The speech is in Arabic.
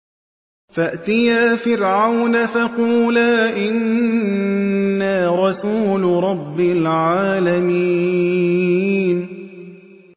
فَأْتِيَا فِرْعَوْنَ فَقُولَا إِنَّا رَسُولُ رَبِّ الْعَالَمِينَ